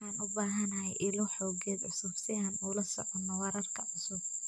Waxaan u baahanahay ilo xogeed cusub si aan ula socono wararka cusub.